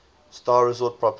star resort properties